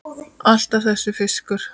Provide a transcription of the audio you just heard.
Alltaf þessi fiskur.